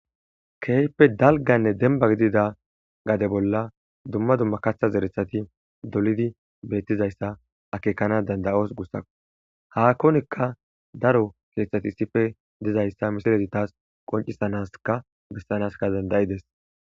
kehippe dalganne demba gidida gade bolla dumma dumma katha zerethati dolidi beettizayssa akeekanas dandayos gussakko hakkonikka daro keeththati issife dizayssa misilezi tas qoncisanasikka bessanasikka dandayidees